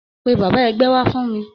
Pe bàbá ẹgbẹ́ wá fún mi